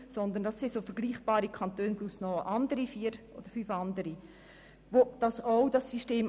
Neben diesen kennen noch vier oder fünf weitere Kantone dieses System.